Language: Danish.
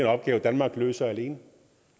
opgave danmark løser alene